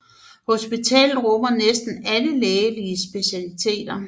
Hospitalet rummer næsten alle lægelige specialer